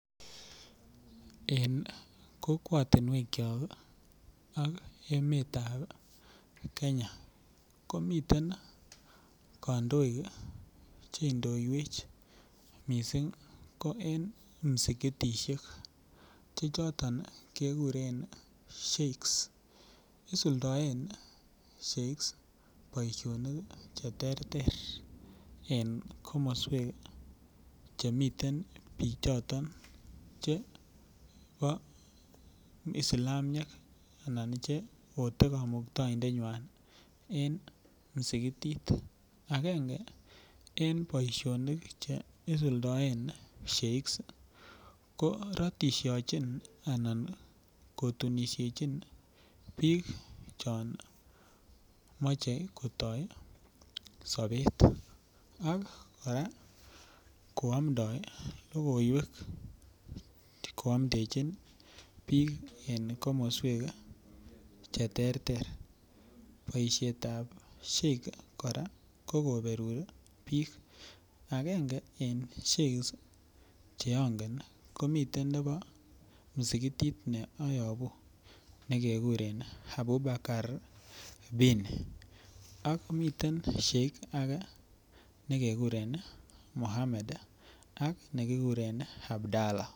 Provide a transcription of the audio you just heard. En kokwotinwekyok ak emetab kenya komiten kandoik cheindoiwech missing ko en msikitisiek chechoton kekuren sheikhs, isuldoen sheikhs boisionik cheterter en komoswek chemiten bichoton chebo islamiek anan cheote kamuktaindenywan en msikitit akenge en boisionik cheisuldoen sheikhs ko ratishochin anan kotunishechin biik chon moche kotoi sobet ak koamndoi logoiwek koamndechin biik en komoswek cheterter ,boisietab sheikhs kora kokoberur biik akenge en sheikhs cheongen komiten nebo musikitit ne ayobu nekekuren Abubhakar bini, ak miten sheikhs ake nekekuren mohammed ak nekikuren Abdhala .